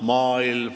Maailm.